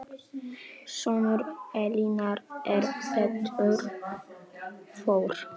Sonur Elínar er Pétur Þór.